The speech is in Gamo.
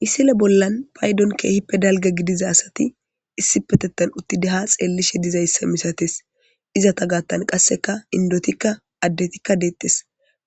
Misile bollan paydon keehippe dalga gidiza asati issipetettan uttide ha xeellishe dizayssa misates izata gaattan qasseka indotikka addetikka deettes